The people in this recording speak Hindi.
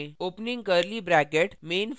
opening curly bracket { type करें